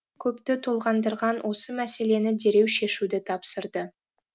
көпті толғандырған осы мәселені дереу шешуді тапсырды